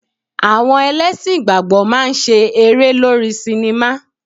Àwọn ẹlẹ́sìn ìgbàgbọ́ máa ń ṣe eré lórí sinimá.